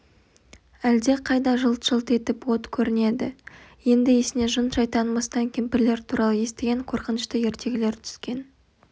әлде қайда жылт-жылт етіп от көрінеді енді есіне жын-шайтан мыстан кемпірлер туралы естіген қорқынышты ертегілері түскен